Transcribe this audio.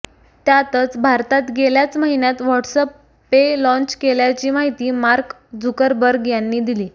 त्यातच भारतात गेल्याच महिन्यात व्हॉट्सअप पे लाँच केल्याची माहिती मार्क झुकरबर्ग यांनी दिली